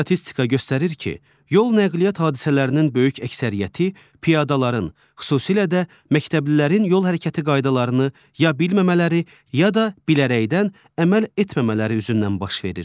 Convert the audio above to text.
Statistika göstərir ki, yol nəqliyyat hadisələrinin böyük əksəriyyəti piyadaların, xüsusilə də məktəblilərin yol hərəkəti qaydalarını ya bilməmələri, ya da bilərəkdən əməl etməmələri üzündən baş verir.